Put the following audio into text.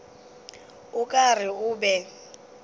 o ka re o be